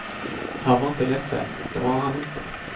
Han var inte ledsen, det var han inte.